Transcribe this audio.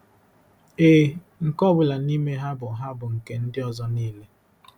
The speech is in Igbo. Ee, nke ọ bụla nime ha bụ ha bụ nke ndị ọzọ niile.